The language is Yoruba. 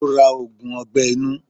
Ó ra ògùn ọgbẹ́ inú.